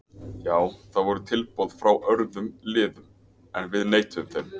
Já það voru tilboð frá örðum liðum en við neituðum þeim.